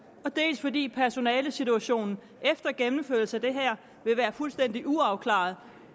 dels fordi personalesituationen efter gennemførelsen af det her vil være fuldstændig uafklaret